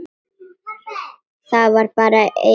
Það var bara einn busi!